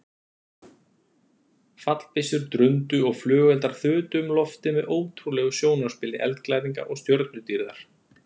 Fallbyssur drundu og flugeldar þutu um loftið með ótrúlegu sjónarspili eldglæringa og stjörnudýrðar.